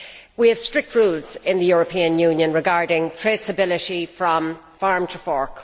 We have strict rules in the European Union regarding traceability from farm to fork.